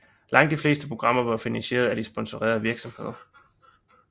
Langt de fleste programmer var finansieret af sponsorerende virksomheder